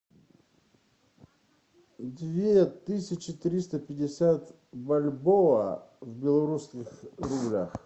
две тысячи триста пятьдесят бальбоа в белорусских рублях